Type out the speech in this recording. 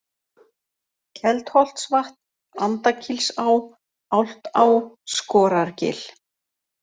Keldholtsvatn, Andakílsá, Álftá, Skorargil